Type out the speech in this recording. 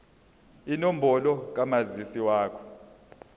inombolo kamazisi wakho